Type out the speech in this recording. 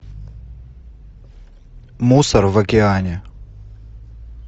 мусор в океане